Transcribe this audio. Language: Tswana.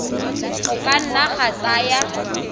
go ka nna ga tsaya